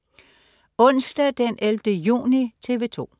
Onsdag den 11. juni - TV 2: